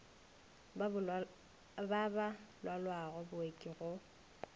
ba ba lwalago booki go